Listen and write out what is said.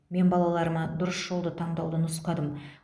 мен балаларыма дұрыс жолды таңдауды нұсқадым